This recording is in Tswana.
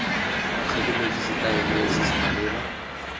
tlhokometse setaele se se maleba